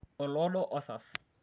oloodo osas